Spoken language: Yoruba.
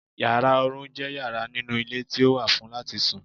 Yàrá oorun je yara ninu ile ti o wà fun lati sùn